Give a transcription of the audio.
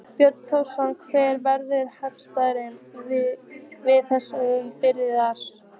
Björn Þorláksson: Hver verður heildarkostnaðurinn við þessa viðbyggingu?